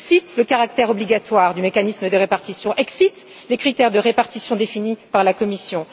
le flou. Pas de caractère obligatoire du mécanisme de répartition, pas de critères de répartition définis par la Commission.